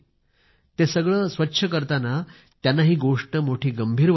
ते सगळं साफ करताना त्यांना गोष्ट मोठी गंभीर वाटली